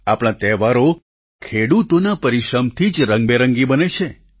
આપણા તહેવારો ખેડૂતોના પરિશ્રમથી જ રંગબેરંગી બને છે